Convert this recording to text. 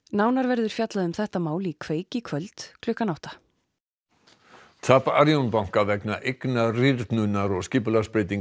nánar verður fjallað um þetta mál í kveik í kvöld klukkan átta tap Arion banka vegna eignarýrnunar og skipulagsbreytinga